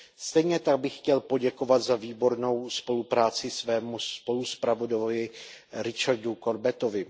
Stejně tak bych chtěl poděkovat za výbornou spolupráci svému spoluzpravodaji Richardu Corbettovi.